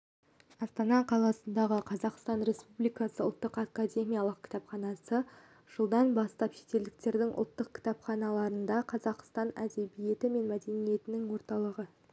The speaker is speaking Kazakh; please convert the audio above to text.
астана қаласындағы қазақстан республикасы ұлттық академиялық кітапханасы жылдан бастап шетелдердің ұлттық кітапханаларындақазақстан әдебиеті мен мәдениеті орталығын